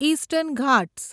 eastern Ghats